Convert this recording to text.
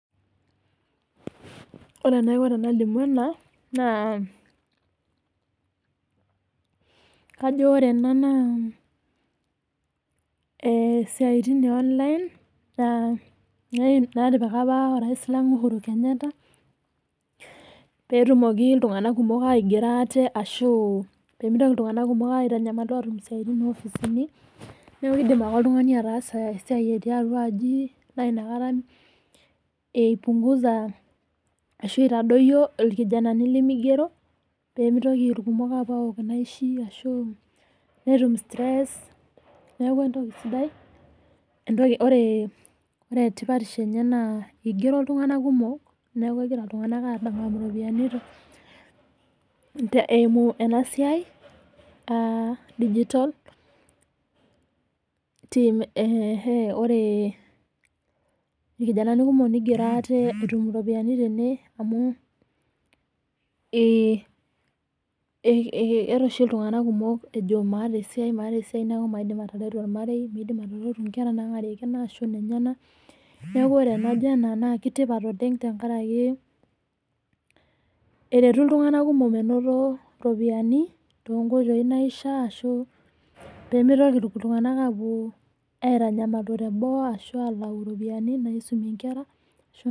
Ore enaiko tenalimu ena naa kajo ore ena naa esiatin e online naa netipika apa orais lang Uhuru Kenyatta peetumoki iltungana kumok aigero ate ashu pemeitoki iltungana kumok aitanyamalita aatum siatin opisini, neaku keidim ake oltungani ataasa esiai etii atua aji naa inakata epungusa ashu eitadoiyo ilkijanani lemeigero nemeitoki ilkumok aapo aol inaishi ashu metum stress, neaku entoki sidai, entoki oree etipatisho enye naa eigero iltungana kumok neaku egira iltungana aadamakuno iropiyiani te eimuenq siai aadigitol, ore ilkijanani kumok neigero ate etum iropiyiani tene amuu eeta oshi iltungana kumok ajo maata esiai, maata esiai naaku maidim ateretu ormarei, neidim netum inkera naang'arie kina ashu nenyena ,neaku ore enajo ena naaku enetipat oleng tengaraki eretu iltunganak kumok oleng menoto iropiyiani to inkoitoi naishaa ashu pemeitoki iltunganak aaku airanyamatu teboo ashu alaua iropiyiani naisumie inkera ashu.